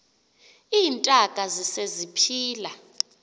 iintaka zise ziphila